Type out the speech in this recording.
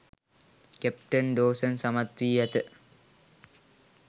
captain Dawson සමත් වී ඇත